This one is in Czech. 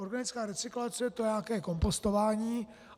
Organická recyklace, to je nějaké kompostování.